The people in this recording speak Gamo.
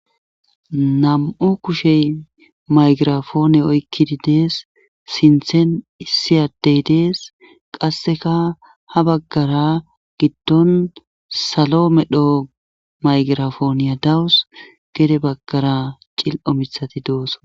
nam7u kushey maygirafoone oykkidi dees sinthen issiyadey dees qasseka ha baggara giddon salo medho maygirafooniya dawus gede baggara cil7o mithati doosso